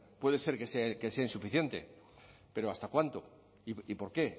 puede ser que sea insuficiente pero hasta cuánto y por qué